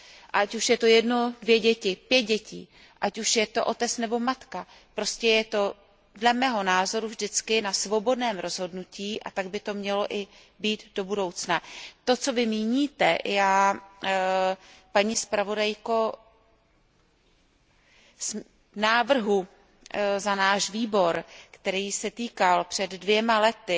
A ať už je to jedno dítě, dvě děti, pět dětí, ať už je to otec nebo matka, prostě je to dle mého názoru vždycky na svobodném rozhodnutí, a tak by to mělo i být do budoucna. To, co vy míníte, paní místopředsedkyně, pokud jde o návrh za náš výbor, který se týkal před dvěma lety